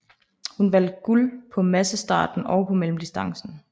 Hun vandt guld på på massestarten og på mellemdistancen